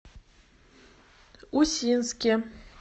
усинске